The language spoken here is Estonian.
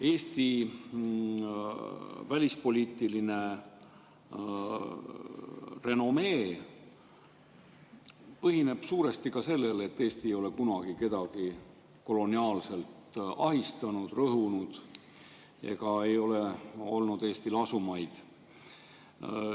Eesti välispoliitiline renomee põhineb suuresti ka sellel, et Eesti ei ole kunagi kedagi koloniaalselt ahistanud, rõhunud ega ole Eestil olnud asumaid.